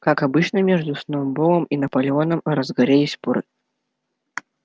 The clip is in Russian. как обычно между сноуболлом и наполеоном разгорелись поры